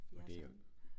Ja sådan